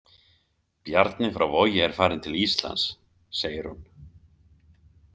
Bjarni frá Vogi er farinn til Íslands, segir hún.